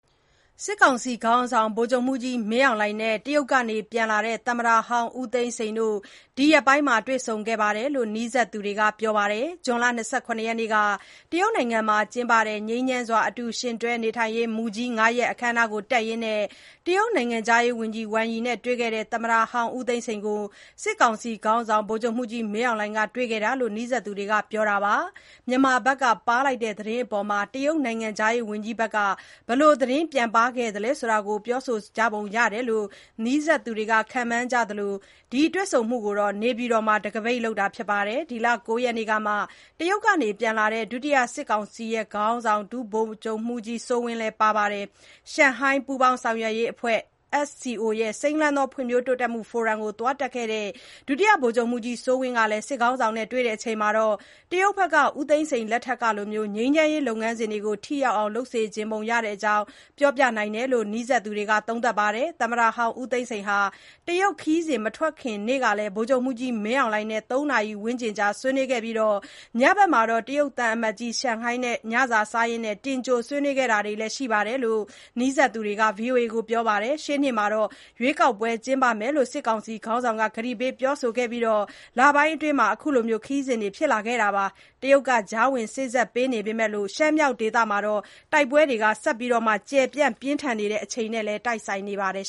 စစ်ကောင်စီ ခေါင်းဆောင် ဗိုလ်ချုပ်မှူးကြီး မင်းအောင်လှိုင်နဲ့ တရုတ်က ပြန်လာတဲ့ သမ္မတဟောင်း ဦးသိန်းစိန်တို့ ဒီရက်ပိုင်း တွေ့ဆုံခဲ့တယ်လို့ နီးစပ်သူတွေက ပြောပါတယ်။ ဇွန်လ ၂၇ ရက်နေ့က တရုတ်မှာကျင်းပတဲ့ ငြိမ်းချမ်းစွာ အတူယှဉ်တွဲ နေထိုင်ရေးမူကြီး (၅) ရပ် အခမ်းအနား တက်ရင်း တရုတ် နိုင်ငံခြားရေးဝန်ကြီး ဝမ်ယိနဲ့ တွေ့ခဲ့တဲ့ သမ္မတဟောင်း ဦးသိန်းစိန်ကို စစ်ကောင်စီ ခေါင်းဆောင် ဗိုလ်ချုပ်မှူးကြီး မင်းအောင်လှိုင်က တွေ့ခဲ့တာလို့ နီးစပ်သူတွေက ပြောပါတယ်။ မြန်မာဘက်က ပါးလိုက်တဲ့သတင်းအပေါ် တရုတ်နိုင်ငံခြားရေးဝန်ကြီးဘက်က ဘယ်လို သတင်းပြန်ပါးသလဲဆိုတာ ပြောပုံရတယ်လို့ နီးစပ်သူတွေက ခန့်မှန်းကြသလို ဒီတွေ့ဆုံမှုကို နေပြည်တော်မှာ တခါးပိတ်လုပ်တာဖြစ်ပြီး ဒီလ ၉ ရက်နေ့ကမှ တရုတ်က ပြန်လာတဲ့ ဒုတိယ စစ်ကောင်စီ ခေါင်းဆောင် ဒုဗိုလ်ချုပ်မှူးကြီး စိုးဝင်း လည်း ပါတယ်လို့ သိရပါတယ်။ ရှန်ဟိုင်း ပူးပေါင်း ဆောင်ရွက်ရေးအဖွဲ့ (SCO)ရဲ့ စိမ်းလန်းသော ဖွံ့ဖြိုးတိုးတက်မှု ဖိုရမ်ကို သွားတက်ခဲ့တဲ့ ဒုတိယ ဗိုလ်ချုပ်မှူးကြီး စိုးဝင်း ကလည်း စစ်ခေါင်းဆောင်နဲ့ တွေ့ဆုံချိန်မှာ တရုတ်ဘက်က ဦးသိန်းစိန် လက်ထက်ကလို ငြိမ်းချမ်းရေး လုပ်ငန်းစဉ်တွေ ထိရောက်အောင် လုပ်စေချင်ပုံရတဲ့အကြောင်း ပြောပြနိုင်တယ်လို့ နီးစပ်သူတွေက သုံးသပ်ပြောဆိုပါတယ်။ သမ္မတဟောင်း ဦးသိန်းစိန်ဟာ တရုတ် ခရီးစဉ် မထွက်ခင်နေ့ကလည်း ဗိုလ်ချုပ်မှူးကြီး မင်းအောင်လှိုင်နဲ့ ၃ နာရီ ဝန်းကျင်ကြာ ဆွေးနွေးခဲ့ပြီး၊ ညဘက်မှာ တရုတ်သံအမတ်ကြီး ချန်ဟိုင်းနဲ့ ညစာ စားရင်း တင်ကြို ဆွေးနွေးခဲ့တာလည်း ရှိတယ်လို့ နီးစပ်သူတွေက VOA ကို ပြောခဲ့ပါတယ်။ ရှေ့နှစ်မှာ ရွေးကောက်ပွဲ ကျင်းပမယ်လို့ စစ်ကောင်စီ ခေါင်းဆောင်က ကတိပေး ပြောဆိုခဲ့ပြီး လပိုင်းအတွင်းမှာ အခုခရီးစဥ်တွေ ဖြစ်လာခဲ့တာ ဖြစ်သလို၊ တရုတ်က ကြားဝင် စေ့စပ်ပေမဲ့လို့ ရှမ်းမြောက်ဒေသမှာ တိုက်ပွဲတွေ ဆက်လက် ကျယ်ပြန့် ပြင်းထန်နေချိန်နဲ့လည်း တိုက်ဆိုင်နေပါတယ်